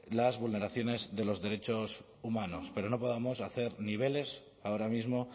las vulneraciones de los derechos humanos pero no podemos hacer niveles ahora mismo